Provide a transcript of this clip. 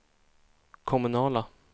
kommunala